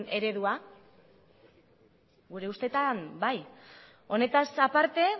eredua gure ustetan bai honetaz aparte